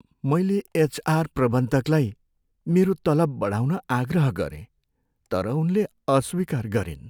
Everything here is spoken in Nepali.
मैले एचआर प्रबन्धकलाई मेरो तलब बढाउन आग्रह गरेँ तर उनले अस्वीकार गरिन्।